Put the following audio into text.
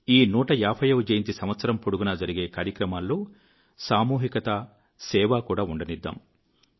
ఈ 150 వజయంతి సంవత్సరం పొడుగునా జరిగే కార్యక్రమాల్లో సామూహికత సేవ కూడా ఉండనిద్దాం